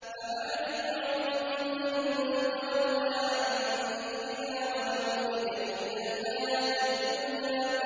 فَأَعْرِضْ عَن مَّن تَوَلَّىٰ عَن ذِكْرِنَا وَلَمْ يُرِدْ إِلَّا الْحَيَاةَ الدُّنْيَا